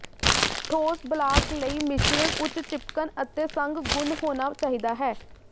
ਠੋਸ ਬਲਾਕ ਲਈ ਮਿਸ਼ਰਣ ਉੱਚ ਿਚਪਕਣ ਅਤੇ ਸੰਘ ਗੁਣ ਹੋਣਾ ਚਾਹੀਦਾ ਹੈ